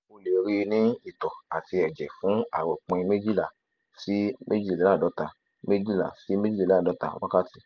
o le rii ni itọ ati ẹjẹ fun aropin mejila si mejileladota mejila si mejileladota wakati